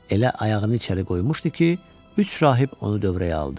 Elə ayağını içəri qoymuşdu ki, üç rahib onu dövrəyə aldı.